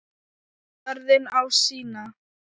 Jörðin á sína.